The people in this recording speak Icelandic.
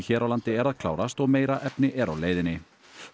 hér á landi er að klárast og meira efni er á leiðinni